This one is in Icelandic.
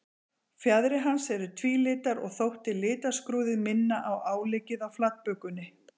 Fjaðrir hans eru tvílitar og þótti litaskrúðið minna á áleggið á flatbökunni.